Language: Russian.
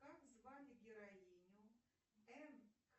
как звали героиню м